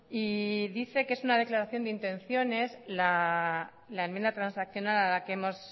y dice que es una declaración de intenciones la enmienda transaccional a la que hemos